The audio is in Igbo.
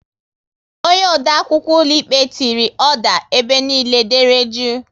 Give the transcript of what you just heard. Onye odeakwụkwọ ụlọikpe tiri "oda", ebe niile dere jụụ!